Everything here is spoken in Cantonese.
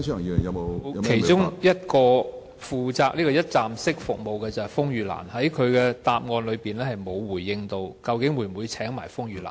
其中一個負責提供"一站式"服務的機構是風雨蘭，但局長的答覆沒有表明會否邀請風雨蘭？